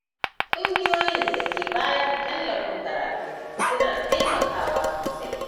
Ƙungiyoyin da ke bayar da tallafin karatu, suna taimakawa sosai.